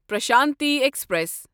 Prashanti express